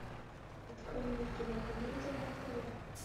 открой мне кинокомедия на тв